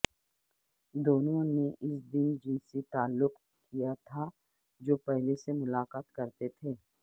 دونوں نے اس دن جنسی تعلق کیا تھا جو پہلے سے ملاقات کرتے تھے